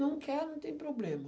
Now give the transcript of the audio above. Não quer, não tem problema.